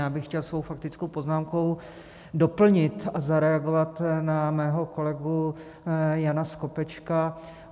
Já bych chtěl svou faktickou poznámkou doplnit a zareagovat na svého kolegu Jana Skopečka.